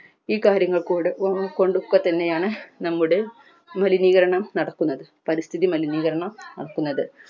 ഈ കാര്യങ്ങൾക്കൂടെ ഓര്മിച്ചുകൊണ്ട് ഒക്കെത്തന്നെയാണ് നമ്മുടെ മലിനീകരണം നടക്കുന്നത് പരിസ്ഥിതി മലിനീകരണം നടക്കുന്നത്